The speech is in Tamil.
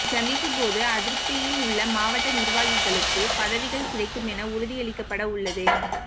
இச்சந்திப்போது அதிருப்தியில் உள்ள மாவட்ட நிர்வாகிகளுக்கு பதவிகள் கிடைக்கும் என உறுதியளிக்கப்பட உள்ளது